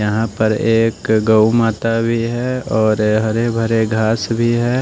यहां पर एक गौ माता भी है और हरे भरे घास भी है।